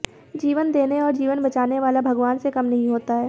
जीवन देने और जीवन बचाने वाला भगवान से कम नहीं होता है